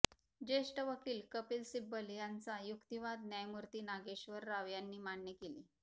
ज्येष्ठ वकील कपिल सिब्बल यांचा युक्तिवाद न्यायमूर्ती नागेश्वर राव यांनी मान्य केले